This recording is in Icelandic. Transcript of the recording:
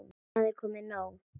Það er komið nóg.